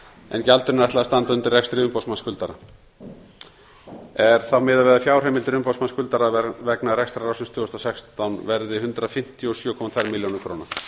en gjaldinu er ætlað að standa undir rekstri umboðsmanns skulda er þá miðað við að fjárheimildir umboðsmanns skuldara vegna rekstrarársins tvö þúsund og sextán verði samtals hundrað fimmtíu og sjö komma tvær milljón